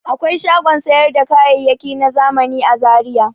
Akwai shagon sayar da kayayaki na zamani a Zaiya.